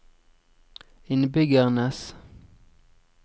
innbyggernes